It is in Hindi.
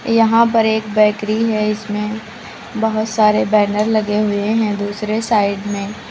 यहां पर एक बैकरी है इसमें बहुत सारे बैनर लगे हुए हैं दूसरे साइड में।